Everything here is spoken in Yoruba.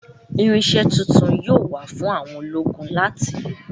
Irinṣẹ́ tuntun yóò wà fún àwọn ológun láti lò